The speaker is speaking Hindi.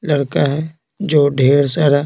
लड़का है जो ढेर सारा--